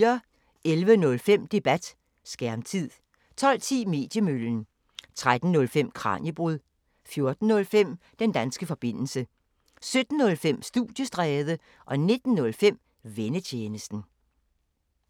11:05: Debat: Skærmtid 12:10: Mediemøllen 13:05: Kraniebrud 14:05: Den danske forbindelse 17:05: Studiestræde 19:05: Vennetjenesten